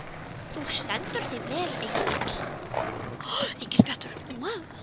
Þú stendur þig vel, Engill!